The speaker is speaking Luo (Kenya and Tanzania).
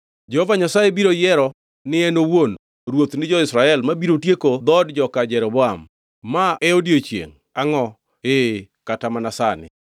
“Jehova Nyasaye biro yiero ni en owuon ruoth ni jo-Israel mabiro tieko dhood joka Jeroboam. Ma e odiechiengʼ! Angʼo? Ee, kata mana sani.